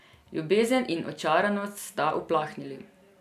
Ljubezen in očaranost sta uplahnili.